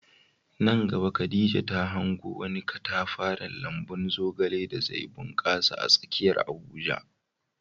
Nan gaba Khadija ta hango wani katafaren lambun zogale da zai bunkasa a tsakiyar Abuja.